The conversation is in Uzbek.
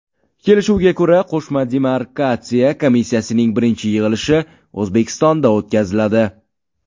Kelishuvga ko‘ra, qo‘shma demarkatsiya komissiyasining birinchi yig‘ilishi O‘zbekistonda o‘tkaziladi.